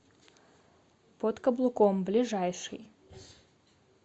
под каблуком ближайший